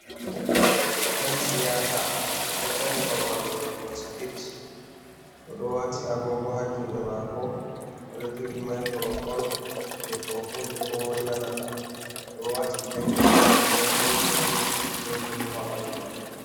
Ɗan siyasa ɗo dari babal waɗugo spich, oɗo wati agogo ha juɗe mako oɗo jogi microfone je to voli ko moyi nanata, oɗo wati jaket lemon girin be bulu ha ɓandu man.